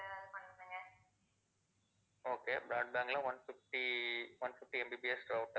okay broadband ல one fifty, one fifty MBPS router